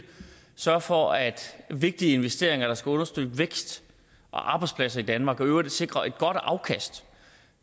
sørge for at vigtige investeringer der skal understøtte vækst og arbejdspladser i danmark og i øvrigt sikre et godt afkast